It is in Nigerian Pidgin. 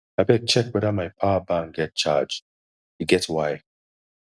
abeg check weda my power bank get charge e get why